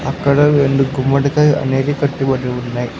అక్కడ రెండు గుమ్మడికాయ అనేది కట్టబడి ఉన్నాయి.